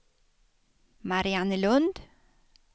Mariannelund